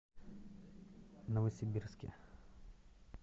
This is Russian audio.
новосибирске